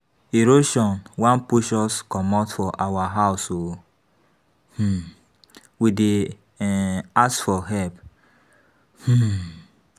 Erosion wan push us comot for our house oo, um we dey um ask for help. um